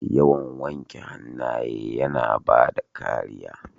Yawan wanke hannaye yana bada kariya.